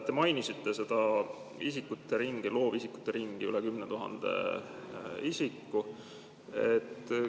Te mainisite seda loovisikute ringi, üle 10 000 isiku.